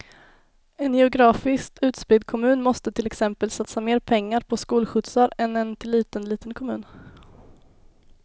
En geografiskt utspridd kommun måste till exempel satsa mer pengar på skolskjutsar än en till ytan liten kommun.